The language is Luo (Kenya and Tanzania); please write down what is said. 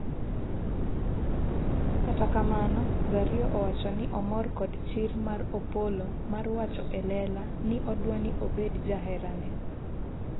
kata kamano, Zario owacho ni omor kod chir mar Opolo mar wacho elela ni odwani obed jaherane